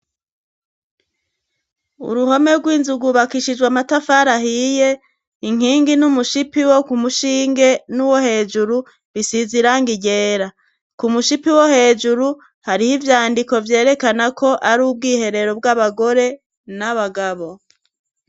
Uruhome rw'inzu rwubakishijwa matafar' ahiye, inkingi n'umushipi wo ku mushinge n'uwo hejuru, bisiz'irangi ryera, ku mushipi wo hejuru harih' ivyandiko vyerekana ko ar' ubwiherero bw'abagore n'abagabo